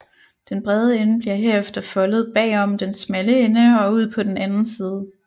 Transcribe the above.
Den brede ende bliver herefter foldet bagom den smalle ende og ud på den anden side